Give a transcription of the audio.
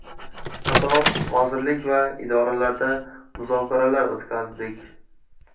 Qator vazirlik va idoralarda muzokaralar o‘tkazdik.